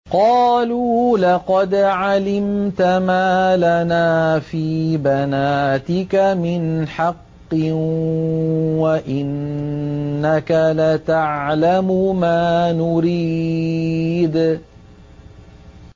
قَالُوا لَقَدْ عَلِمْتَ مَا لَنَا فِي بَنَاتِكَ مِنْ حَقٍّ وَإِنَّكَ لَتَعْلَمُ مَا نُرِيدُ